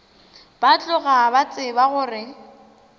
ba tloga ba tseba gore